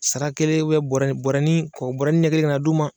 Sara kelen bɔrɛni bɔrɛnii kɔkɔ bɔrɛni ɲɛ kelen kan'a d'u ma